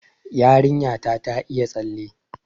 Yarinya ta ta iya tsalle